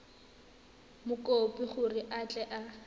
mokopi gore a tle a